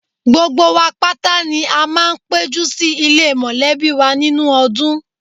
Gbogbo wa pátá ni a máa ń péjú sì ilé mọ̀lẹ́bí wa nínú ọdún